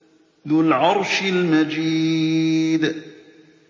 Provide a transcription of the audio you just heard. ذُو الْعَرْشِ الْمَجِيدُ